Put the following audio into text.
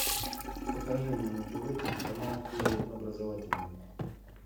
покажи мне на тв телеканал первый образовательный